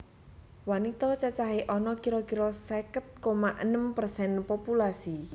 Wanita cacahé ana kira kira seket koma enem persen populasi